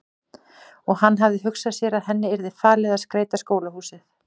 Og hann hafði hugsað sér að henni yrði falið að skreyta skólahúsið.